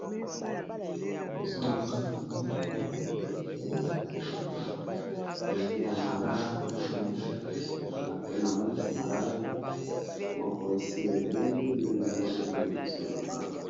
liboso na nga na mono eza nzete ya malala nte na mono eza liboso na nga pe na mona bamalala eza moko esi ebeli nde na mono yango liboso na nga